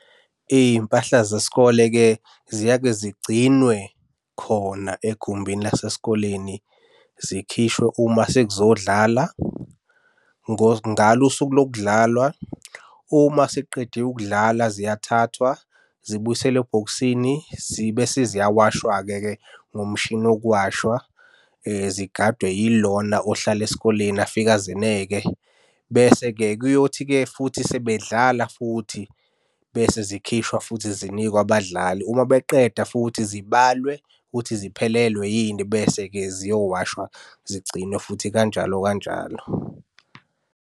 Iy'mpahla zesikole-ke ziyeke zigcinwe khona egumbini lasesikoleni zikhishwe uma sekuzodlala. Ngalo usuku lokudlalwa, uma sekuqedwe ukudlala ziyathathwa zibuyiselwe ebhokisini zibe seziyawashwa-ke ngomshini wokuwashwa. Zigadwe yilona ohlala esikoleni afike azeneke. Bese-ke kuyothi-ke futhi sebedla futhi bese zikhishwa futhi zinikwe abadlali, uma beqeda futhi zibalwe ukuthi ziphelelwe yini, bese-ke ziyowashwa zigcinwe futhi kanjalo kanjalo.